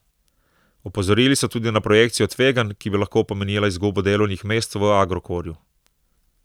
Opozorili so tudi na projekcijo tveganj, ki bi lahko pomenila izgubo delovnih mest v Agrokorju.